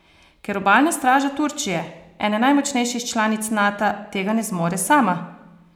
Ker obalna straža Turčije, ene najmočnejših članic Nata, tega ne zmore sama?